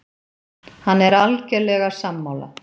Hann er algerlega sammála